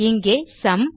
இங்கே சும்